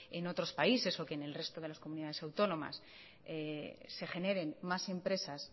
en otros países o que en el resto de las comunidades autónomas se generen más empresas